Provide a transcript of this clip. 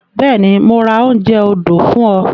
Bẹ́ẹ̀ni, mo máa ra oúnjẹ odò fún ọ.